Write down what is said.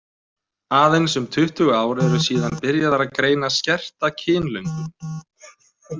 Aðeins um tuttugu ár eru síðan byrjað var að greina skerta kynlöngun.